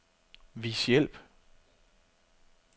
Vis hjælp.